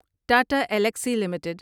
Tata Elxsi limited